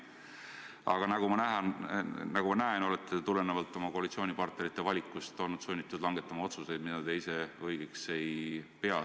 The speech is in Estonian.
Aga nagu ma näen, te olete tulenevalt oma koalitsioonipartnerite valikust olnud sunnitud langetama otsuseid, mida ise õigeks ei pea.